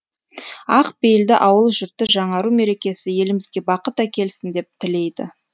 ақ пейілді ауыл жұрты жаңару мерекесі елімізге бақыт әкелсін деп тілейді